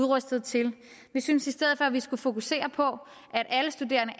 rustede til vi synes i stedet for at vi skulle fokusere på at alle studerende